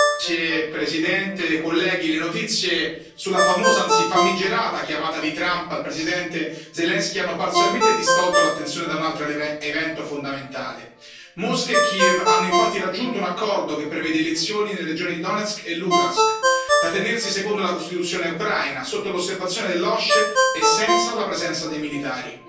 Signor Presidente, onorevoli colleghi, le notizie sulla famosa, anzi famigerata, chiamata di Trump al presidente Zelensky hanno parzialmente distolto l'attenzione da un altro evento fondamentale. Mosca e Kiev hanno infatti raggiunto un accordo che prevede elezioni nelle regioni di Donetsk e Luhansk, da tenersi secondo la Costituzione ucraina, sotto l'osservazione dell'OSCE e senza la presenza dei militari.